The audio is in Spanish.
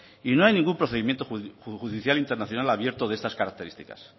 y no hay ningún procedimiento judicial internacional abierto de estas características